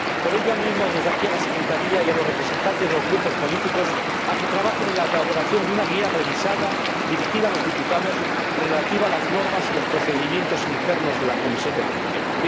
Por ello, animo desde aquí a la secretaría y a los representantes de los grupos políticos a que trabajen en la elaboración de una guía revisada dirigida a los diputados, relativa a las normas y los procedimientos internos de la Comisión de Peticiones.